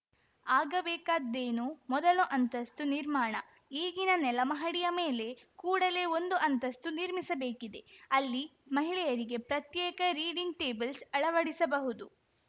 ಆಗಬೇಕಾದ್ದೇನು ಮೊದಲ ಅಂತಸ್ತು ನಿರ್ಮಾಣ ಈಗಿನ ನೆಲ ಮಹಡಿಯ ಮೇಲೆ ಕೂಡಲೆ ಒಂದು ಅಂತಸ್ತು ನಿರ್ಮಿಸಬೇಕಿದೆ ಅಲ್ಲಿ ಮಹಿಳೆಯರಿಗೆ ಪತ್ರೇಕ ರೀಡಿಂಗ್‌ ಟೇಬಲ್ಸ್‌ ಅಳವಡಿಸಬಹುದು